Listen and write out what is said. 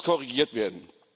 Das muss korrigiert werden.